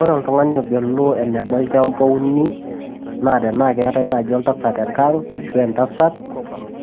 Ore oltung`ani ogelu eneba olchamba ouni naa tenaa keetae naaji oltasat tenkang ashu entasat